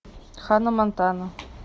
ханна монтана